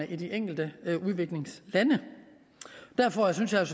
i de enkelte udviklingslande derfor synes jeg